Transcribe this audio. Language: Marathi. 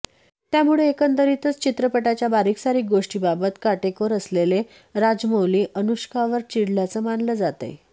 त्यामुळे एकंदरीतच चित्रपटाच्या बारीक सारीक गोष्टींबाबत काटेकोर असलेले राजमौली अनुष्कावर चिडल्याचं मानलं जातंय